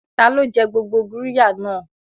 Ta ló jẹ gbogbo qirya náà?